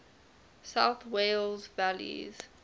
south wales valleys